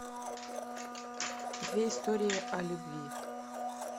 две истории о любви